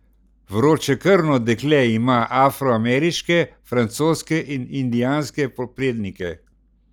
Vročekrvno dekle ima afroameriške, francoske in indijanske prednike.